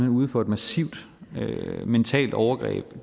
ude for et massivt mentalt overgreb